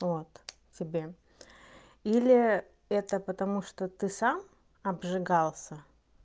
а вот тебе или это потому что ты сам обжигался